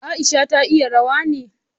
Aisha ta iya rawa ne?